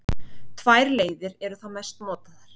Tvær leiðir eru þá mest notaðar.